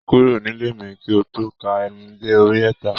Kúrò nílé mi ki n tó ka ení dé orí ẹẹ́ta